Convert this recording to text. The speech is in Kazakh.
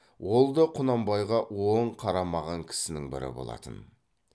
ол да құнанбайға оң қарамаған кісінің бірі болатын